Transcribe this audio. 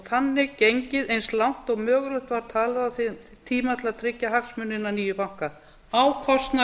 þannig gengið eins langt og mögulegt var talið á þeim tíma til að tryggja hagsmuni hinna nýju banka á kostnað